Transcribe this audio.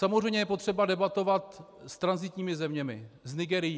Samozřejmě je potřeba debatovat s tranzitními zeměmi, s Nigérií.